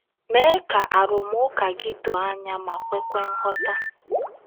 Mee ka arụmụka gị doo anya ma kwekwa nghọta.